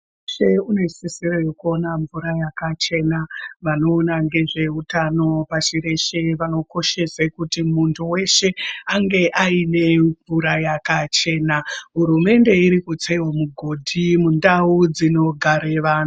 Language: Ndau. Misha yese inosisirwa kuve nemvura yakachena. Vanoona ngezveutano pashi reshe vanokoshese kuti munhu weshe ange aine mvura yakachena. Hurumende iri kutsawo migodhi mundau dzinogare vantu.